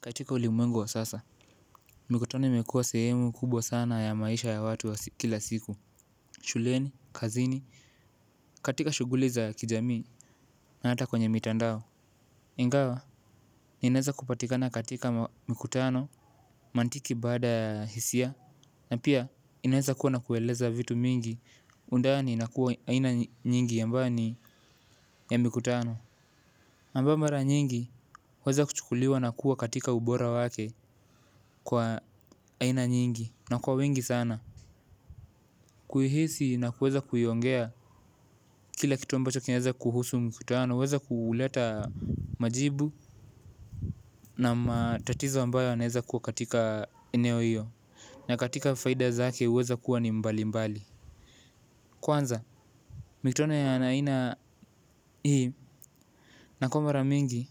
Katika ulimwengu wa sasa, mikutano imekuwa sehemu kubwa sana ya maisha ya watu wa kila siku. Shuleni, kazini, katika shughuli za kijamii na hata kwenye mitandao. Ingawa, inaweza kupatikana katika mikutano mantiki baada ya hisia. Na pia, inaweza kuwa na kueleza vitu mingi undani na kuwa aina nyingi ambayo ni ya mikutano. Kwa sababu mara nyingi, huanza kuchukuliwa na kuwa katika ubora wake kwa aina nyingi tunakuwa wengi sana. Kuihisi na kuweza kuiongea kila kitu ambacho kinaeza kuhusu mkutano huweza kuuleta majibu na matatizo ambayo yanaeza kuwa katika eneo iyo. Na katika faida zake huweza kuwa ni mbali mbali. Kwanza, mikutano ya aina hii. Inakuwa mara mingi,